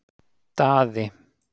Daði